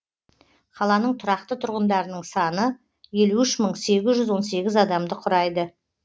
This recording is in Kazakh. қаланың тұрақты тұрғындарының саны елу үш мың сегіз жүз он сегіз адамды құрайды